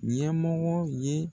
Ɲɛmɔgɔ ye.